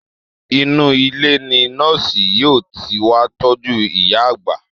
Inú ilé ni nọ́ọ̀sì yóò ti wá tọ́jú ìyá àgbà